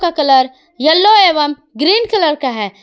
का colour yellow एवं green colour का है।